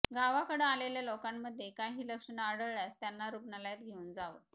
गावाकडं आलेल्या लोकांमध्ये काही लक्षण आढळल्यास त्यांना रुग्णालयात घेऊन जावं